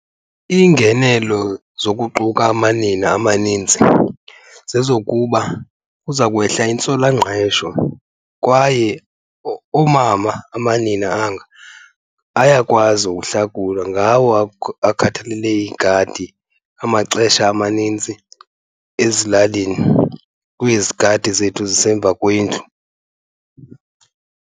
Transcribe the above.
Iingenelo zokuquka amanina amaninzi zezokuba kuza kwehla intswelangqesho kwaye oomama, amanina anga, ayakwazi ukuhlakula, ngawo akhathelele iigadi amaxesha amaninzi ezilalini kwezi gadi zethu zisemva kwendlu.